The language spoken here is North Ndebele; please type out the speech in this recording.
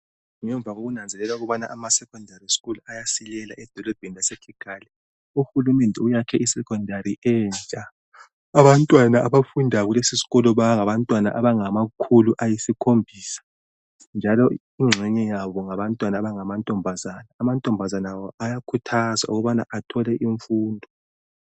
Abantwana basemaphandleni bayasalela emuva ngemfundo, uhulumende wakhe isikolo esikhulu esilabantwanta abalikhulu lasikhombisa ,inengi labo ngabantwana abangamankazana, bayakhuthazwa ukubana bathole imnfundo.